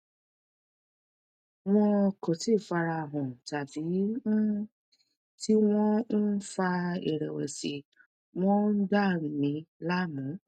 wọn kò tíì fara hàn tàbí um tí wọn ń fa ìrèwèsì wọn ń dà mí láàmú